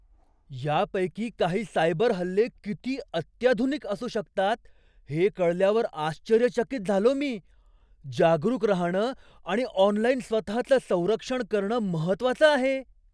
यापैकी काही सायबर हल्ले किती अत्याधुनिक असू शकतात हे कळल्यावर आश्चर्यचकित झालो मी. जागरूक राहणं आणि ऑनलाइन स्वतःचं संरक्षण करणं महत्त्वाचं आहे.